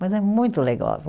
Mas é muito legal.